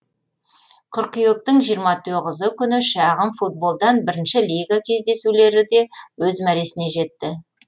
қыркүйектің жиырма тоғызы күні шағын футболдан бірінші лига кездесулері де өз мәресіне жетті